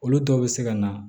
Olu dɔw bɛ se ka na